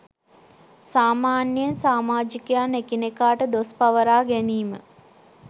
සාමාන්‍යයෙන් සාමාජිකයන් එකිනෙකාට දොස් පවරා ගැනීම